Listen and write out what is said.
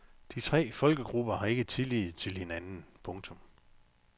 De tre folkegrupper har ikke tillid til hinanden. punktum